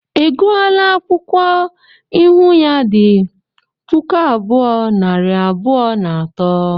I gụọla akwụkwọ ịhụ ya di puku abuo, nari abụọ na atọ?